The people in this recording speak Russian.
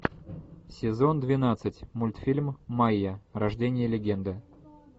сезон двенадцать мультфильм майя рождение легенды